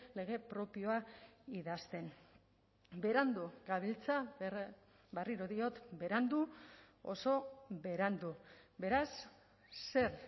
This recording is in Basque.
lege propioa idazten berandu gabiltza berriro diot berandu oso berandu beraz zer